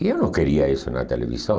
E eu não queria isso na televisão.